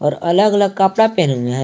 अलग अलग कपड़ा पहना है।